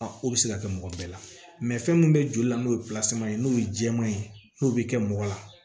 o bɛ se ka kɛ mɔgɔ bɛɛ la fɛn min bɛ joli la n'o ye ye n'o ye jɛman ye n'o bɛ kɛ mɔgɔ la